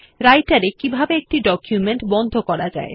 Writer এ কিভাবে একটি ডকুমেন্ট বন্ধ করা যায়